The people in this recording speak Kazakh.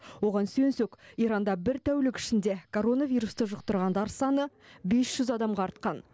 оған сүйенсек иранда бір тәулік ішінде коронавирусты жұқтырғандар саны бес жүз адамға артқан